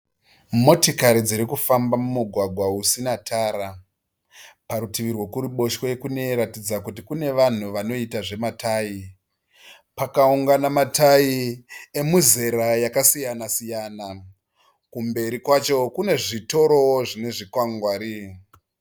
Motikari dzirikufamba mumugwagwa usina tara. Parutivi rwekuruboshwe kunoratidza kuti kune vanhu vanoita zvema 'tyre' . Pakaungana ma 'tyre' emuzera yakasiyana siyana . kumberi kwacho kune zvitoro zvine zvikwangwari.